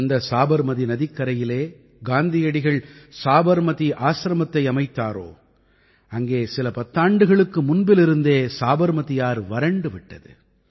எந்த சாபர்மதீ நதிக்கரையில் காந்தியடிகள் சாபர்மதீ ஆசிரமத்தை அமைத்தாரோ அங்கே சில பத்தாண்டுகளுக்கு முன்பிலிருந்தே சாபர்மதீ ஆறு வறண்டு விட்டது